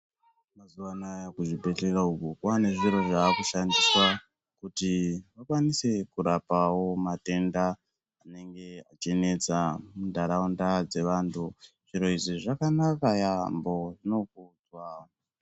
Mazuwanaya kuzvibhehlera uku kwane zviro zvakushandiswa kuti vakwanisewo kurapa matenda anenge achinetsa muntaraunda dzevantu. Zviro izvi zvakanaka yambo, zvinokudzwa.